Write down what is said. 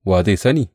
Wa zai sani?